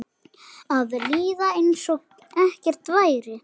Að líða einsog ekkert væri.